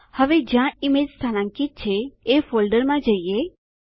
હવે જ્યાં ઈમેજ સ્થાનાંકિત છે એ ફોલ્ડરમાં જઈએ